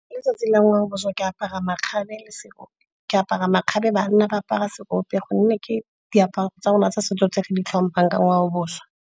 Ka letsatsi la ngwaobošwa ke apara makgabe, banna ba apara seope gonne ke diaparo tsa rona tsa setso tse re di tlhomphang ka ngwaobošwa.